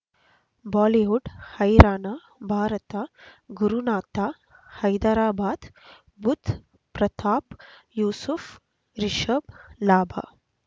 Bollywood ಹೈರಾಣ ಭಾರತ ಗುರುನಾಥ ಹೈದರಾಬಾದ್ ಬುಧ್ ಪ್ರತಾಪ್ ಯೂಸುಫ್ ರಿಷಬ್ ಲಾಭ